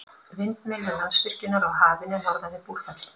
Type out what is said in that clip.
Vindmyllur Landsvirkjunar á Hafinu norðan við Búrfell.